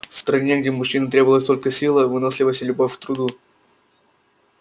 в стране где мужчинам требовалась только сила выносливость и любовь к труду